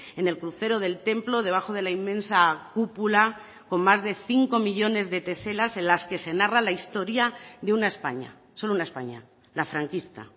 en el crucero del templo debajo de la inmensa cúpula con más de cinco millónes de teselas en las que se narra la historia de una españa solo una españa la franquista